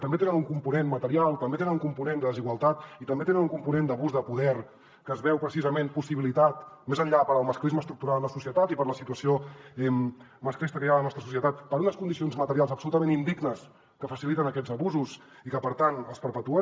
també tenen un component material també tenen un component de desigualtat i també tenen un component d’abús de poder que es veu precisament possibilitat més enllà del masclisme estructural en la societat i per la situació masclista que hi ha a la nostra societat per unes condicions materials absolutament indignes que faciliten aquests abusos i que per tant els perpetuen